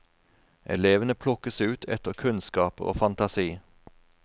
Elevene plukkes ut etter kunnskaper og fantasi.